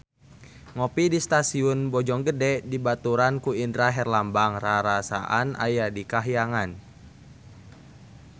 Ngopi di Stasiun Bojonggede dibaturan ku Indra Herlambang rarasaan aya di kahyangan